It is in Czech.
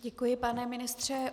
Děkuji, pane ministře.